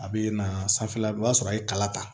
A bɛ na sanfɛ la i b'a sɔrɔ a ye kala ta